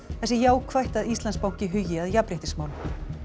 það sé jákvætt að Íslandsbanki hugi að jafnréttismálum